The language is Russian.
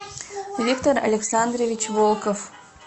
виктор александрович волков